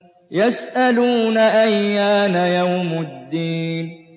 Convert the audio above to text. يَسْأَلُونَ أَيَّانَ يَوْمُ الدِّينِ